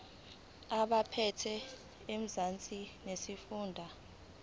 kwabaphethe ezamanzi nesifunda